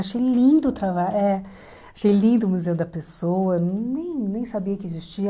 Achei lindo o trabalho, é achei lindo o Museu da Pessoa, nem nem sabia que existia.